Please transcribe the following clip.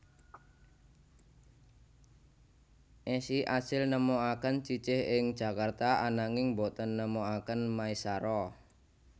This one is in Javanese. Esi asil nemokaken Cicih ing Jakarta ananging boten nemokaken Maesaroh